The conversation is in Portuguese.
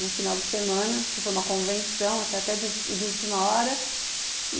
no final de semana, porque foi uma convenção, até té de última hora.